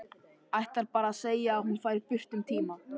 Ætlar bara að segja að hún fari burt um tíma.